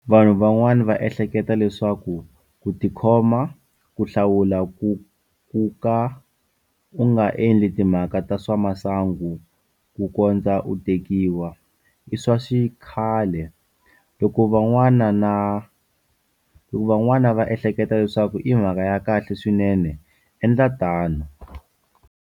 Vanhu van'wana va ehleketa leswaku ku ti khoma, ku hlawula kuka u nga endli timhaka ta swa masangu kukondza u tekiwa, io swa xikhale, loko van'wana va ehleketa leswaku i mhaka ya kahle swinene endla tano.